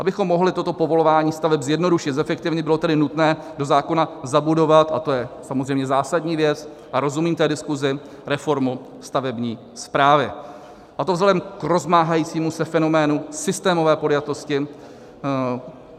Abychom mohli toto povolování staveb zjednodušit, zefektivnit, bylo tedy nutné do zákona zabudovat, a to je samozřejmě zásadní věc, a rozumím té diskusi, reformu stavební správy, a to vzhledem k rozmáhajícímu se fenoménu systémové podjatosti.